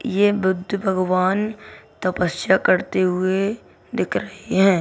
ये बुद्ध भगवान तपस्या करते हुए दिख रहें हैं।